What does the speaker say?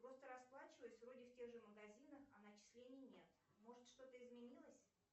просто расплачиваюсь вроде в тех же магазинах а начислений нет может что то изменилось